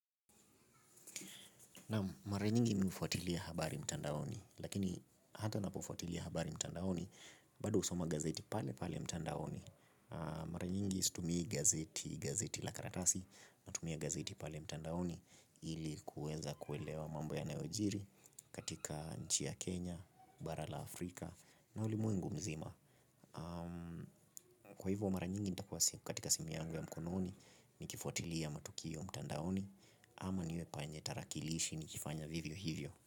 Naam mara nyingi mimi hufuatilia habari mtandaoni lakini hata napofuatilia habari mtandaoni bado usoma gazeti pale pale mtandaoni. Mara nyingi situmii gazeti la karatasi natumia gazeti pale mtandaoni ili kuweza kuelewa mambo yanayojiri katika nchi ya Kenya, bara la Afrika na ulimwengu mzima. Kwa hivyo mara nyingi nitakuwa katika simu yangu ya mkononi. Nikifuatilia matukio mtandaoni ama niwe panye tarakilishi nikifanya vivyo hivyo.